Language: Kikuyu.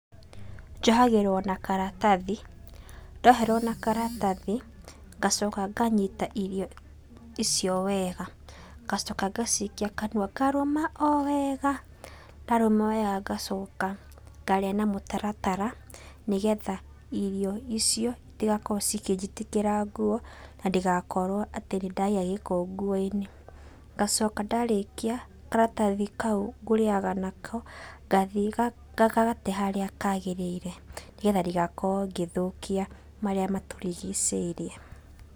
Njohagĩrwo na karatathi, ndoherwo na karatathi, ngacoka nganyita irio icio wega, ngacoka ngacikia kanua ngarũma o wega, ndarũma wega ngacoka ngarĩa na mũtaratara, nĩgetha irio icio, itigakorwo cikĩnjitĩkĩra nguo, na ndigakorwo atĩ nĩndagĩa gĩko nguoinĩ. Ngacoka ndarĩkia, karatathi kau nguriaga nako, ngathiĩ ngagate harĩa kagĩrĩire, nĩgetha ndigakorwo ngĩthũkia marĩa matũrigicĩirie.